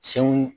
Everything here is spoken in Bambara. Senw